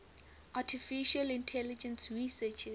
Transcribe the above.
artificial intelligence researchers